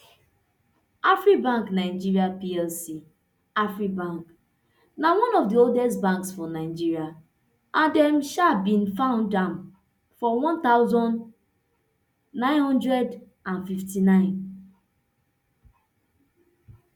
afribank nigeria plc afribank na one of di oldest banks for nigeria and dem um bin found am for one thousand, nine hundred and fifty-nine